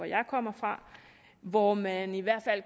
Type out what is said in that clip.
jeg kommer fra hvor man i hvert fald